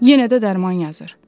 Yenə də dərman yazır.